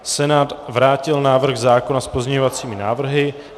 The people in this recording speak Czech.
Senát vrátil návrh zákona s pozměňovacími návrhy.